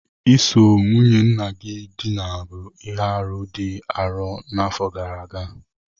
Iso nwunye nna gị dina bụ ihe arụ dị arọ n'afọ gara aga